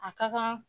A ka kan